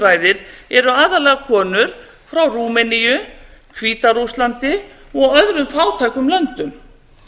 ræðir eru aðallega konur frá rúmeníu hvíta rússlandi og öðrum fátækum löndum